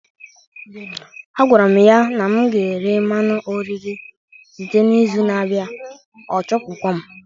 Agwara m ya na m ga-ere mmanụ oriri site n'izu na-abịa, ọ chụpụkwa m